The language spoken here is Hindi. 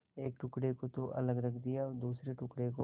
एक टुकड़े को तो अलग रख दिया और दूसरे टुकड़े को